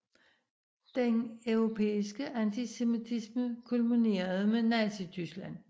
Den europæiske antisemitisme kulminerede med Nazityskland